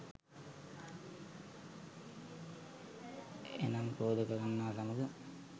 එනම් ක්‍රෝධ කරන්නා සමග